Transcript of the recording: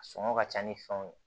A sɔngɔ ka ca ni fɛnw ye